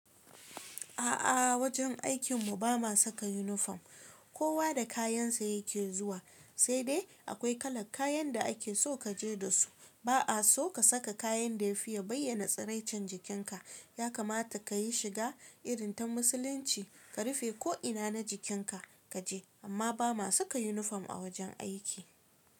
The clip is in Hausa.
A'a, wajen aikin mu ba ma saka yunifom. Kowa da kayan sa ya ke zuwa, sai dai akwai kalar kayan da ake so ka je da su. Ba a so ka saka kayan da ya fi bayyana tsiracin jikin ka. Ya kamata ka yi shiga irin ta Musulunci, ka rufe ko ina na jikin ka, ka je, amma ba ma saka yunifom a wajen aiki.